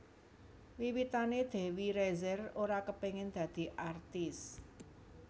Wiwitané Dewi Rezer ora kepengin dadi artis